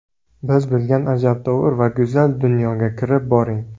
Biz bilan ajabtovur va go‘zal dunyoga kirib boring!